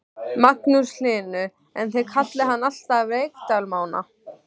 Magnús Hlynur: En þið kallið hann alltaf Reykdal Mána?